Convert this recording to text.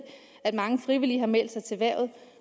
at mange frivillige har meldt sig til hvervet